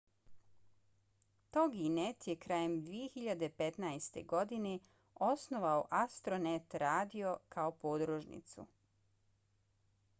toginet je krajem 2015. godine osnovao astronet radio kao podružnicu